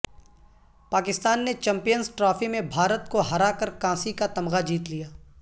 پاکستان نے Champions Trophy میں بھارت کو ہرا کرکانسی کا تمغہ جیت لیا